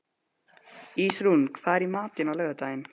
Ísrún, hvað er í matinn á laugardaginn?